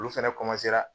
Olu fɛnɛ